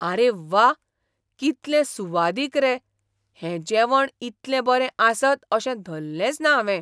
आरे व्वा! कितलें सुवादीक रे, हें जेवण इतलें बरें आसत अशें धल्लेंच ना हावें.